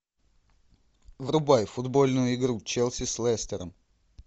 врубай футбольную игру челси с лестером